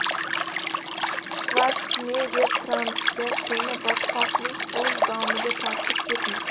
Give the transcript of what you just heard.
Shvarsenegger Trampga: Seni botqoqlik o‘z domiga tortib ketmoqda.